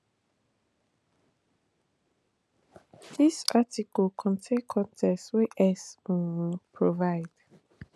dis article contain con ten t wey x um provide